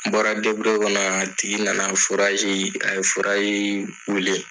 N bɔra deburuye kɔnɔ a tigi nana a ye wili.